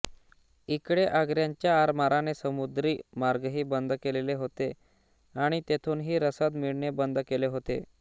इकडे आंग्र्यांच्या आरमाराने समुद्री मार्गही बंद केलेले होते आणि तेथूनही रसद मिळणे बंद केले होते